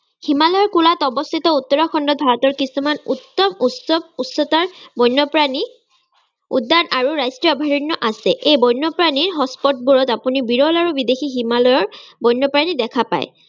হিমালয়ৰ কোলাত অৱস্থিত উত্তৰাখণ্ডত ভাৰতৰ কিছুমান উচ্চ উচ্চ উচ্চতাৰ বন্যপ্ৰাণী উদ্যান আৰু ৰাষ্ট্ৰীয় অভাৰণ্য আছে। বন্যপ্ৰাণীৰ hot-spot বোৰত আপুনি বিৰল আৰু বিদ্বেসী হিমালয়ৰ বন্যপ্ৰাণী দেখা পায়।